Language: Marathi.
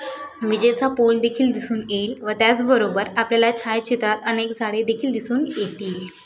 विजेचा पोल देखील दिसून येईल व त्याच बरोबर आपल्याला छायाचित्रात अनेक झाडे देखिल दिसून येतील.